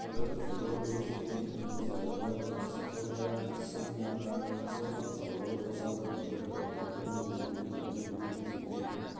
петр федорович пен оның зайыбы прасковья алексеевнаға зор денсаулық ұзақ өмір алдағы өмірлеріне дәулет пен береке